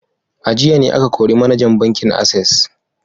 A jiya ne aka kori manajan bankin Access